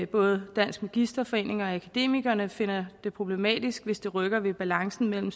både dansk magisterforening og akademikerne finder det problematisk hvis det rykker ved balancen mellem